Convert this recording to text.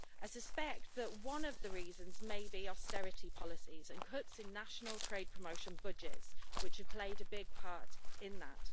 I suspect that one of the reasons may be austerity policies and cuts in national trade promotion budgets, which have played a big part in that.